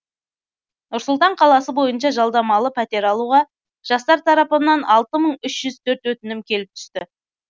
нұр сұлтан қаласы бойынша жалдамалы пәтер алуға жастар тарапынан алты мың үш жүз төрт өтінім келіп түсті